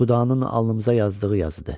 Xudanın alnımıza yazdığı yazıdı.